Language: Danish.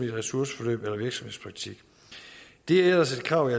ressourceforløb eller virksomhedspraktik det er ellers et krav i